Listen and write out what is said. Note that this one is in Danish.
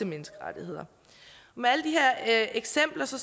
menneskerettigheder med alle de her eksempler står